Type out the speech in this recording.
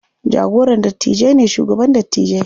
Jagoran dattijai ne shugaban dattijai.